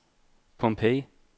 Pompeii